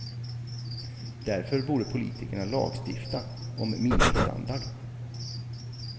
Därför borde politikerna lagstifta om minimistandard.